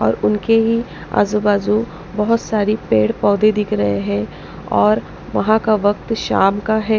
और उनके ही आजू-बाजू बहुत सारी पेड़ पौधे दिख रहे हैं और वहाँ का वक्त शाम का है।